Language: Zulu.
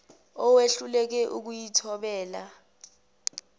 owehluleka ukuyi thobela